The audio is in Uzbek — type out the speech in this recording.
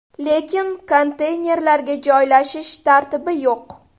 Lekin konteynerlarga joylashish tartibi yo‘q.